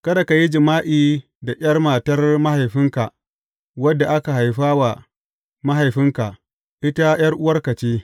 Kada ka yi jima’i da ’yar matar mahaifinka wadda aka haifa wa mahaifinka; ita ’yar’uwarka ce.